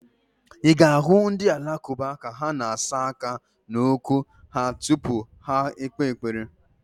Ị ga-ahụ ndị Alakụba ka ha na-asa aka na ụkwụ ha tupu ha ekpe ekpere.